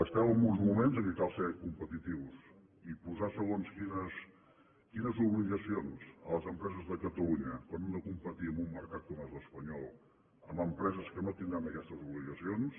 estem en uns moments en què cal ser competitius i posar segons quines obligacions a les empreses de catalunya quan hem de competir amb un mercat com és l’espanyol amb empreses que no tindran aquestes obligacions